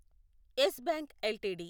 yes Bank LTD